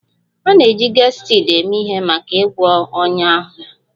A na-eji Gestid eme ihe maka ịgwọ ọnya ọnya